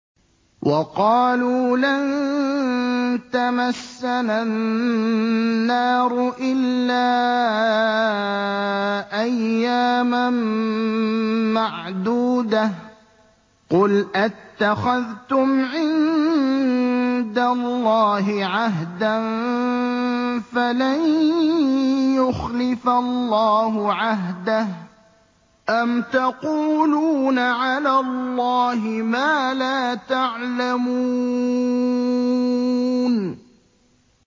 وَقَالُوا لَن تَمَسَّنَا النَّارُ إِلَّا أَيَّامًا مَّعْدُودَةً ۚ قُلْ أَتَّخَذْتُمْ عِندَ اللَّهِ عَهْدًا فَلَن يُخْلِفَ اللَّهُ عَهْدَهُ ۖ أَمْ تَقُولُونَ عَلَى اللَّهِ مَا لَا تَعْلَمُونَ